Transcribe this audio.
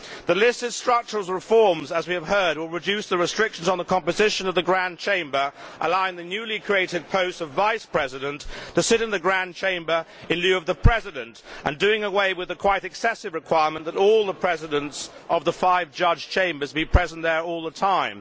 The list of structural reforms, as we have heard, will reduce the restrictions on the composition of the Grand Chamber, allowing holders of the newly created post of Vice President to sit in the Grand Chamber in lieu of the President, and doing away with the quite excessive requirement that all the Presidents of the five judge chambers be present there all the time.